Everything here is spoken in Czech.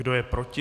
Kdo je proti?